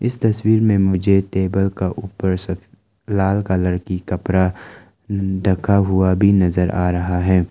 इस तस्वीर में मुझे टेबल का ऊपर सब लाल कलर की कपड़ा ढका हुआ भी नजर आ रहा है।